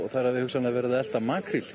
þær hafi verið að elta makríl